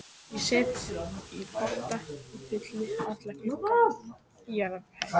Ég set í potta og fylli alla glugga á jarðhæð.